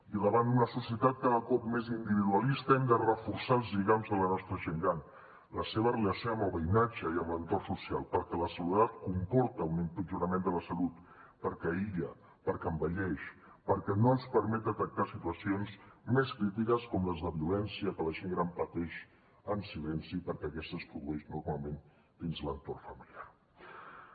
i davant una societat cada cop més individualista hem de reforçar els lligams de la nostra gent gran la seva relació amb el veïnatge i amb l’entorn social perquè la soledat comporta un empitjorament de la salut perquè aïlla perquè envelleix perquè no ens permet detectar situacions més crítiques com les de violència que la gent gran pateix en silenci perquè aquesta es produeix normalment dins l’entorn familiar